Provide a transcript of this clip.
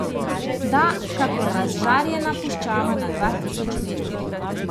Da, kakor razžarjena puščava na dva tisoč metrih!